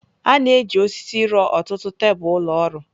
A na-eji osisi rụọ ọtụtụ tebụl ụlọ ọrụ.